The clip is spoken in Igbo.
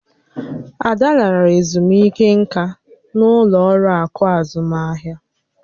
Ada lara ezumike nká na-ụlọ ọrụ akụ azụmahịa.